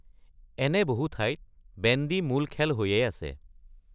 এনে বহু ঠাইত বেণ্ডী মূল খেল হৈয়েই আছে।